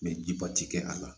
jiba ti kɛ a la